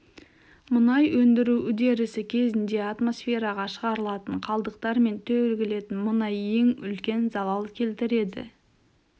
мұнай өндіру үдерісі кезінде атмосфераға шығарылатын қалдықтар мен төгілетін мұнай ең үлкен залал келтіреді